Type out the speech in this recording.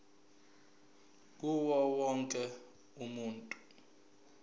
kuwo wonke umuntu